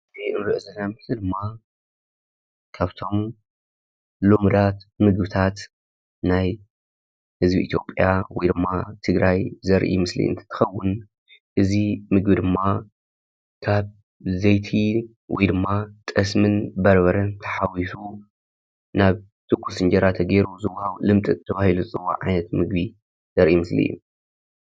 እዚ አንሪኦ ዘለና ምስሊ ደማ ካብቶም ልሙዳት ምግብታት ናይ ህዝቢ ኢትዮጽያ ወይ ድሞ ትግራይ ዘርኢ ምስሊ እትከውን እዚ ምግቢ ድማ ካብ ዘይቲ ወይድማ ጠስምን በርበረን ተሓዊሱ ናብ ትኩስ አነጀራ ተገይሩ ዝዋሃብ ልምጥጥ ተባሂሉ ዝፅዋዕ ዓይነት ምግቢ እዩ።